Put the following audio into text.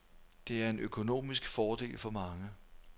Det er en økonomisk fordel for mange.